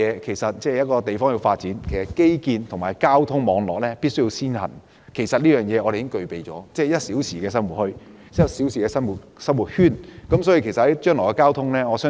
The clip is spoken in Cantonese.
其實，一個地方要發展，基建及交通網絡必須先行，我們已經具備這優勢，我們的 "1 小時生活圈"可紓緩將來的交通需求。